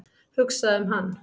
Hugsa um hann.